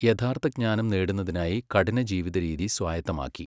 യഥാർത്ഥജ്ഞാനം നേടുന്നതിനായി കഠിനജീവിതരീതി സ്വായത്തമാക്കി.